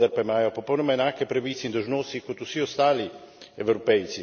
Vendar pa imajo popolnoma enake pravice in dolžnosti kot vsi ostali Evropejci.